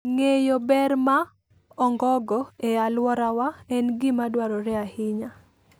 Ng'eyo ber ma ongogo e alworawa en gima dwarore ahinya.